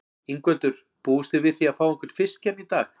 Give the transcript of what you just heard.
Ingveldur: Búist þið við því að fá einhvern fisk hérna í dag?